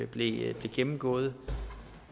blev gennemgået